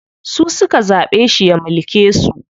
Su suka zaɓe shi ya mulke su.